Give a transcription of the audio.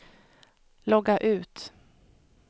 logga ut